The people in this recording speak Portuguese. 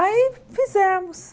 Aí fizemos.